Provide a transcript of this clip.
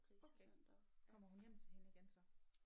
Okay kommer hun hjem til hende igen så?